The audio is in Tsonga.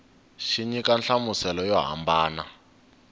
xi nyika nhlamuselo yo hambana